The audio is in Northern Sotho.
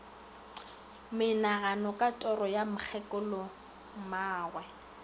monagano ka toro ya mokgekolommagwe